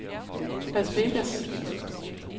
Las Vegas